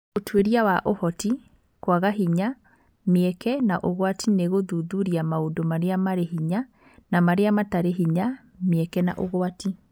Ũtuĩria wa Ũhoti, kwaga hinya, mĩeke, na ũgwati nĩ gũthuthuria maũndũ marĩa marĩ hinya na marĩa matarĩ hinya, mĩeke na ũgwati.